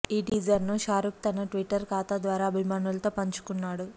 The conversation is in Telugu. ఈ టీజర్ను షారుఖ్ తన ట్విట్టర్ ఖాతా ద్వారా అభిమానులతో పంచుకున్నాడు